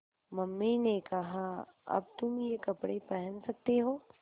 mummy ने कहा अब तुम ये कपड़े पहन सकते हो